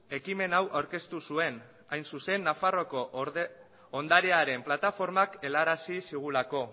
ekimen hau aurkeztu zuen hain zuzen nafarroako ondarearen plataformak helarazi zigulako